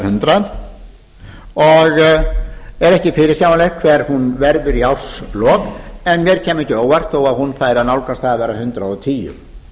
hundrað og er ekki fyrirsjáanlegt hver hún verður í árslok en mér kæmi ekki á óvart þó að hún færi að nálgast það að vera hundrað og tíu